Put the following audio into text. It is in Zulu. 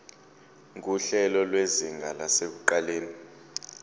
nguhlelo lwezinga lasekuqaleni